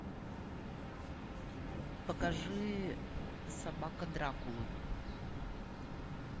покажи собака дракулы